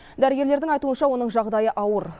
дәрігерлердің айтуынша оның жағдайы ауыр